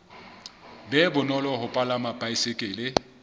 be bonolo ho palama baesekele